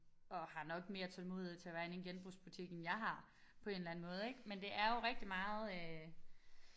Og har nok mere tålmodighed til at være inde i en genbrugsbutik end jeg har på en eller anden måde ik men det er jo rigtig meget øh